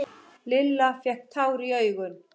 Lilla fékk tár í augun.